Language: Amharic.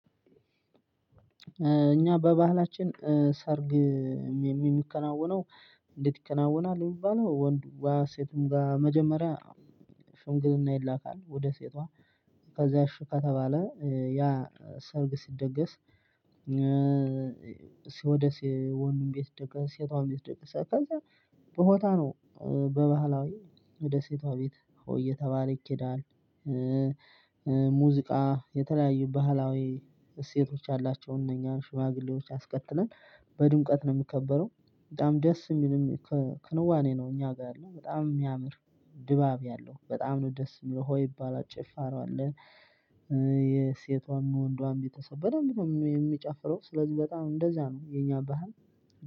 እኛ በባህላችን ሰርግ የሚከናወነው እንዴት ይከናወናል? የሚባለው ወንድዋ ሴቱም ጋር መጀመሪያ ሽምግልና ይላካል ወደ ሴትዋ ከዛ እሺ ከተባለ ያ ሰርግ ሲደገስ። ሲወደስ የወንዱን ቤት ደገስ ሴቷን የሚያስደግስ አካልጋ በቦታ ነው። በባህላዊ ወደ ሴቷ ቤት ሆ እየተባለ ይኬዳል። ሙዚቃ የተለያዩ ባህላዊ እሴቶች አላቸው እነኛን ሽማግሌዎች አስከትለን በድምቀት ነው የሚከበረው፤ በጣም ደስ የሚልም ክንዋኔ ነው። እኛ ጋር ያለው በጣም የሚያምር ድባብ ያለው በጣም ነው ደስ የሚለው ሆይ የሚባል ጭፈራ አለ። የሴቷን ወንዷን ቤተሰብ በደንብ ነው የሚጨፍረው ስለዚህ በጣም እንደዛ ነው የኛ ባህል።